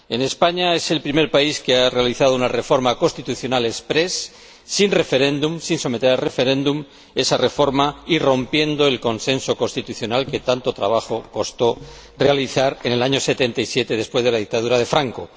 España es el primer país que ha realizado una reforma constitucional exprés, sin someter a referéndum esa reforma y rompiendo el consenso constitucional que tanto trabajo costó realizar en 1977, después de la dictadura de Franco.